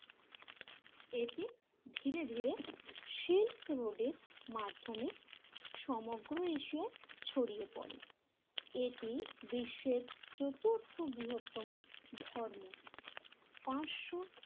এটি ধীরে ধীরে সিল্ক রোডের মাধ্যমে সমগ্র এশিয়ায় ছড়িয়ে পড়ে। এটি বিশ্বের চতুর্থ বৃহত্তম ধর্ম। পাঁচশো